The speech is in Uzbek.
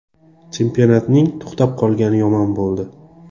Chempionatning to‘xtab qolgani yomon bo‘ldi.